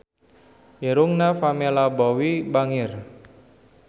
Irungna Pamela Bowie bangir